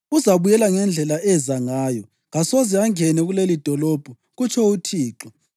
Uzabuyela ngendlela eza ngayo, kasoze angene kulelidolobho, kutsho uThixo.